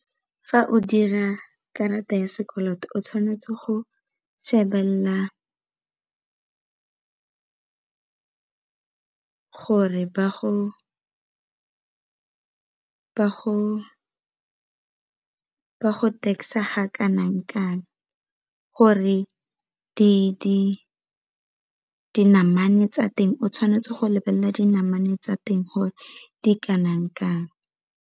Fa o dira karata ya sekoloto o tshwanetse go shebelela gore ba go tax-a ga kanang kang gore dinamane tsa teng o tshwanetse go lebelela dinamane tsa teng gore di kanang kang.